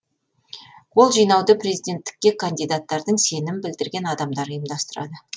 қол жинауды президенттікке кандидаттардың сенім білдірген адамдары ұйымдастырады